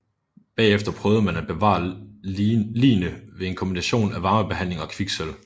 Bagefter prøvede man at bevare ligene ved en kombination af varmebehandling og kviksølv